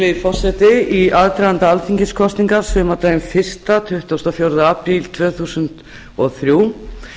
virðulegi forseti í aðdraganda alþingiskosninga sumardaginn fyrsta tuttugasta og fjórða apríl tvö þúsund og þrjú